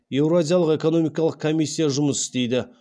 еуразиялық экономикалық комиссия жұмыс істейді